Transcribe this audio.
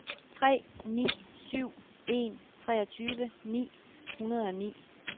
tre ni syv en treogtyve ni hundrede og ni